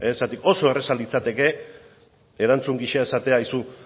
ze oso erraza litzateke erantzun gisa esatea aizu